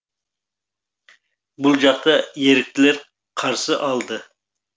бұл жақта еріктілер қарсы алды